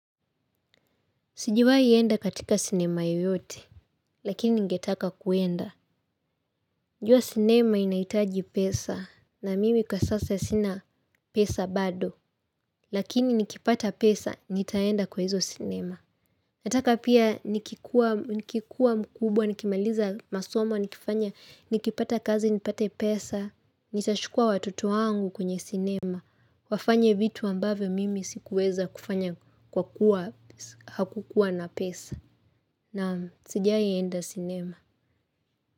Sijawai enda katika sinema yoyote, lakini ningetaka kuenda. Unajua sinema inahitaji pesa, na mimi kwa sasa sina pesa bado, lakini nikipata pesa, nitaenda kwa hizo sinema. Nataka pia nikikuwa mkubwa, nikimaliza masomo, nikifanya, nikipata kazi, nipate pesa, nitachukua watoto wangu kwenye sinema. Wafanye vitu ambavyo mimi sikuweza kufanya kwa kuwa hakukuwa na pesa. Naam, sajai enda sinema.